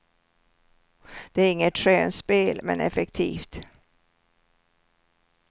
Det är inget skönspel, men effektivt.